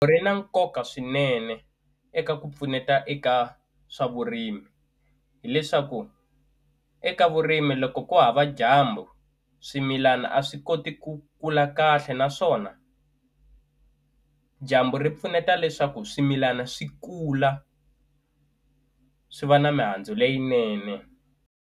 Ri na nkoka swinene eka ku pfuneta eka swa vurimi hileswaku eka vurimi loko ko hava dyambu swimilana a swi koti ku kula kahle naswona dyambu ri pfuneta leswaku swimilana swi kula swi va na mihandzu leyinene.